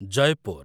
Jaipur